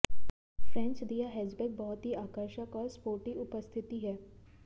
French दिया hatchback बहुत ही आकर्षक और स्पोर्टी उपस्थिति है